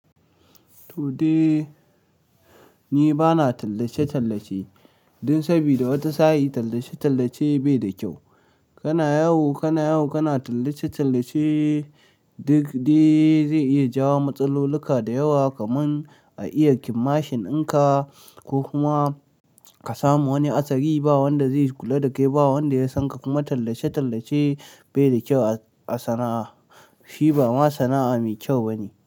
Toh dai ni bana tallace-tallace dan sabida wata sa, i tallace-tallace bai da kyau. Kana yawo, kana yawo kana tallace-tallace duk dai zai iya jawo matsaloluka da yawa kaman a iya kidnapping dinka ko kuma ka samu wani hatsari ba wanda zai kula da kai, ba wanda ya san ka. Kuma tallace-tallace bai da kyau a sana'a. Shi ba ma sana'a mai kyau ba ne.